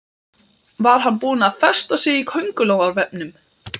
Var hann búinn að festa sig í kóngulóarvefnum?